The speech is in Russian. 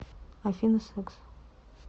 афина секс